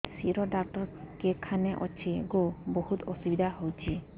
ଶିର doctor କେଖାନେ ଅଛେ ଗୋ ବହୁତ୍ ଅସୁବିଧା ହଉଚି